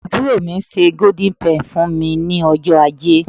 aburo mi se golden penny fún mi ní ọjọ aje